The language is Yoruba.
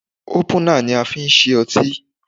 Ópùnà ni a fi ń ṣí otí.